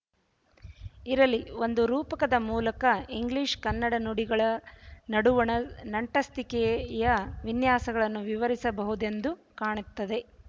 ಇರಲಿ ಒಂದು ರೂಪಕದ ಮೂಲಕ ಇಂಗ್ಲೀಷ್ ಕನ್ನಡ ನುಡಿಗಳ ನಡುವಣ ನಂಟಸ್ತಿಕೆಯ ವಿನ್ಯಾಸಗಳನ್ನು ವಿವರಿಸಬಹುದೆಂದು ಕಾಣುತ್ತದೆ